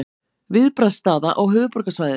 Viðbragðsstaða á höfuðborgarsvæðinu